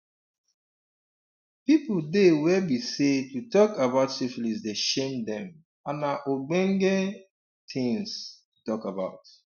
um people dey were be say to talk about syphilis the shame them and na ogbonge um things um to talk about